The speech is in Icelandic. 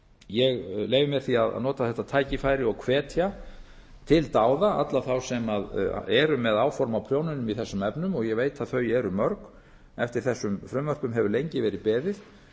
ég leyfi mér því að nota þetta tækifæri og hvetja til dáða alla þá sem eru með áform á prjónunum í þessum efnum og ég veit að þau eru mörg eftir þessum frumvörpum hefur lengi verið beðið